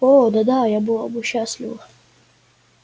о да да я была бы счастлива